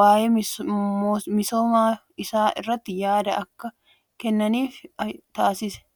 waaye misoosa isaa irratti yaada akka kennan taasisa. Yeroo amma jijjiiramoota akkamii fide namni kun?